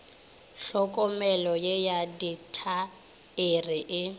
hlokomelo ye ya ditaere e